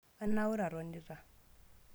Anaure atonita